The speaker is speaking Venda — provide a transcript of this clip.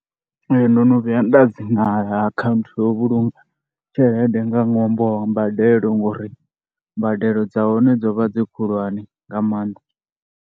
Ee, ndo no vhuya nda dzi vala akhanthu ya u vhulunga tshelede nga ṅwambo wa mbadelo ngori mbadelo dza hone dzo vha dzi khulwane nga maanḓa.